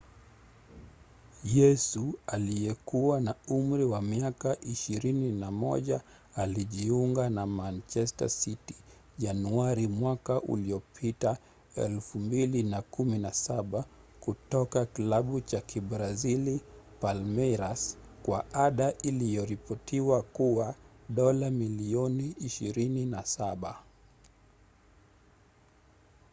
yesu aliyekuwa na umri wa miaka 21 alijiunga na manchester city januari mwaka uliopita 2017 kutoka klabu cha kibrazili palmeiras kwa ada iliyoripotiwa kuwa dola milioni 27